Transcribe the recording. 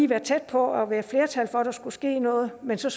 været tæt på at være flertal for at der skulle ske noget men så